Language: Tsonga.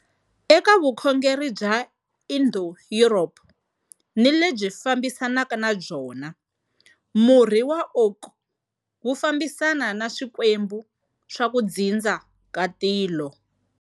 Eka vukhongeri bya Indo-Europe ni lebyi fambisanaka na byona, murhi wa oak wu fambisana ni swikwembu swa ku dzindza ka tilo.